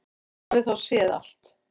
Hann hafði þá séð allt!